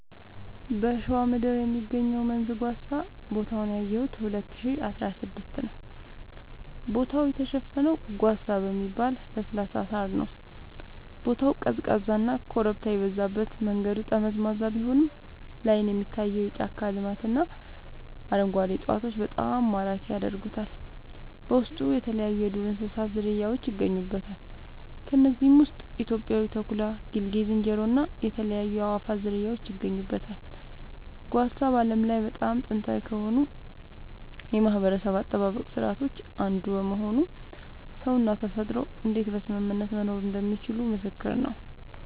በሸዋ ምድር የሚገኘው መንዝ ጓሳ ቦታውን ያየሁት 2016 ነዉ ቦታው የተሸፈነው ጓሳ በሚባል ለስላሳ ሳር ነዉ ቦታው ቀዝቃዛና ኮረብታ የበዛበት መንገዱ ጠመዝማዛ ቢሆንም ላይን የሚታየው የጫካ ልማትና አረንጓዴ እፅዋቶች በጣም ማራኪ ያደርጉታል በውስጡ የተለያይዩ የዱር እንስሳት ዝርያውች ይገኙበታል ከነዚህም ውስጥ ኢትዮጵያዊው ተኩላ ጌልጌ ዝንጀሮ እና የተለያዩ የአእዋፋት ዝርያወች ይገኙበታል። ጓሳ በዓለም ላይ በጣም ጥንታዊ ከሆኑ የማህበረሰብ አጠባበቅ ስርዓቶች አንዱ በመሆኑ ሰውና ተፈጥሮ እንዴት በስምምነት መኖር እንደሚችሉ ምስክር ነዉ